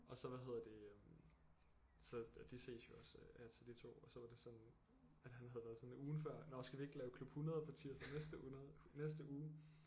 Og så hvad hedder det øh så de ses jo også af og til de 2 og så var det sådan at han havde været sådan ugen før nåh skal vi ikke lave klub 100 på tirsdag næste 100 næste uge